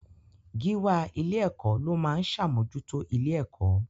Gíwá ilé-ẹ̀kọ́ ló máa ń ṣàmójútó ilé-ẹ̀kọ́.